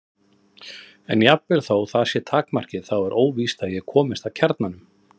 En jafnvel þótt það sé takmarkið þá er óvíst að ég komist að kjarnanum.